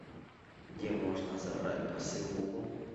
где можно забрать посылку